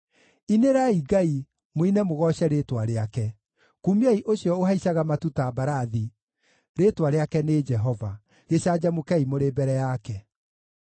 Inĩrai Ngai, mũine mũgooce rĩĩtwa rĩake, kumiai ũcio ũhaicaga matu ta mbarathi, rĩĩtwa rĩake nĩ Jehova; gĩcanjamũkei mũrĩ mbere yake.